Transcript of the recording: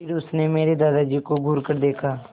फिर उसने मेरे दादाजी को घूरकर देखा